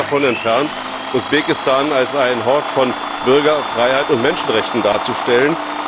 Ich bin weit davon entfernt, Usbekistan als einen Hort von Bürgerfreiheit und Menschenrechten darzustellen.